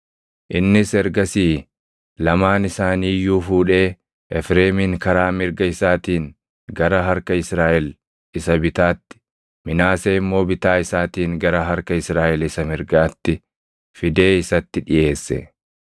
Innis ergasii lamaan isaanii iyyuu fuudhee Efreemin karaa mirga isaatiin gara harka Israaʼel isa bitaatti, Minaasee immoo bitaa isaatiin gara harka Israaʼel isa mirgaatti fidee isatti dhiʼeesse.